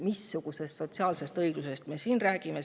Missugusest sotsiaalsest õiglusest me siin räägime?